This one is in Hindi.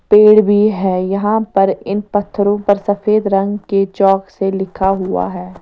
पेड़ भी है यहां पर इन पत्थरों पर सफेद रंग के चॉक से लिखा हुआ है।